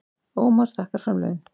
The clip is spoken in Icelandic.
Ómar þakkar framlögin